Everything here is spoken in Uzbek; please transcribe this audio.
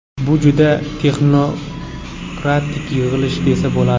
Bu juda texnokratik yig‘ilish desa bo‘ladi.